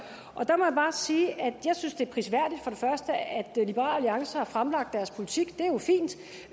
og der må jeg bare sige at jeg synes det er prisværdigt at liberal alliance har fremlagt deres politik